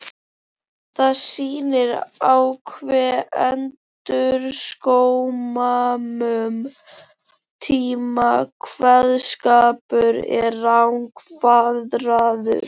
Það sýnir á hve undraskömmum tíma kveðskapur er rangfeðraður.